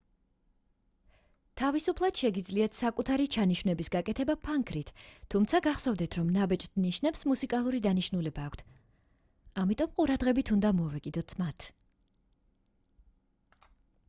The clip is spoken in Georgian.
თავისუფლად შეგიძლიათ საკუთარი ჩანიშვნების გაკეთება ფანქრით თუმცა გახსოვდეთ რომ ნაბეჭდ ნიშნებს მუსიკალური დანიშნულება აქვთ ამიტომ ყურადღებით უნდა მოვეკიდოთ მათ